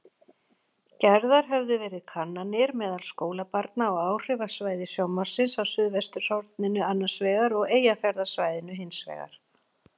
Gerðar höfðu verið kannanir meðal skólabarna á áhrifasvæði sjónvarpsins á suðvesturhorninu annarsvegar og Eyjafjarðarsvæðinu hinsvegar.